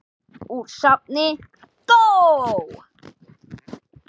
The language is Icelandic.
Úr safni GÓ.